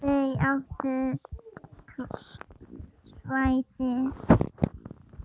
Þau áttu svæðið.